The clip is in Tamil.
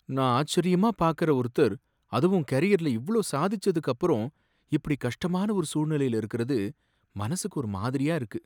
நான் ஆச்சரியமா பார்க்கற ஒருத்தர் அதுவும் கரியர்ல இவ்ளோ சாதிச்சதுக்கு அப்பறம் இப்படி கஷ்டமான ஒரு சூழ்நிலைல இருக்கறது மனசுக்கு ஒரு மாதிரியா இருக்கு.